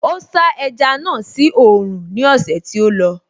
Ó sá ẹja náà sí oòrùn ní ọ̀sẹ̀ tí ó lọ